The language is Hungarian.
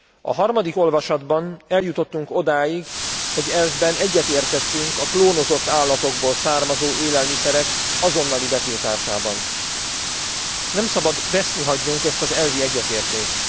A harmadik olvasatban eljutottunk odáig, hogy elvben egyetértettünk a klónozott állatokból származó élelmiszerek azonnali betiltásában. Nem szabad veszni hagynunk ezt az elvi egyetértést.